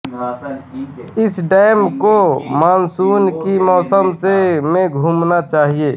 इस डैम को मानसून के मौसम में घूमना चाहिए